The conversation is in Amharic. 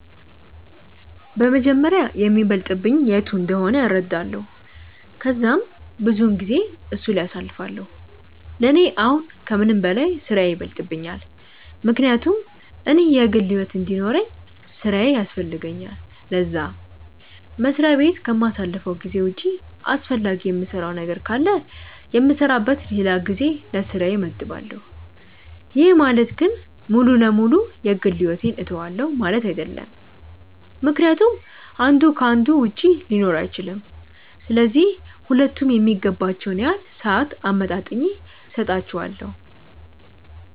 በመጀመሪያ የሚበልጥብኝ የቱ እንደሆነ እረዳለው ከዛም ብዙውን ጊዜየን እሱ ላይ አሳልፋለው፤ ለኔ አሁን ከምንም በላይ ስራዬ ይበልጥብኛል ምክንያቱም እኔ የግል ሕይወት እንዲኖርውኝ ስራዬ ያስፈልገኛል ለዛ፤ መስሪያ በት ከማሳልፈው ጊዜ ውጪ አስፈላጊ የምሰራው ነገር ካለ የምሰራበት ለላ ጊዜ ለስራዬ መድባለው፤ ይህ ማለት ግን ሙሉ ለ ሙሉ የ ግል ሕይወቴን ትውዋለው ማለት አይድለም ምክንያቱም አንዱ ከ አንዱ ውጪ ሊኖር አይችልም፤ ስለዚህ ሁለቱም የሚገባቸውን ያህል ሰአት አመጣጥኜ ሰጣቸዋለው።